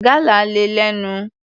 Gálà le lẹ́nu.